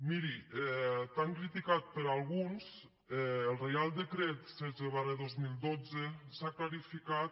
miri tan criticat per alguns el reial decret setze dos mil dotze ens ha clarificat